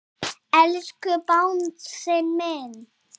Elsku Bangsi minn.